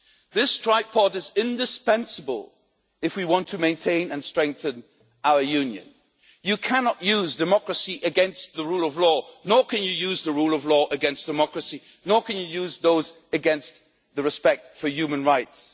This tripod is indispensable if we want to maintain and strengthen our Union. You cannot use democracy against the rule of law, nor can you use the rule of law against democracy, nor can you use those against respect for human rights.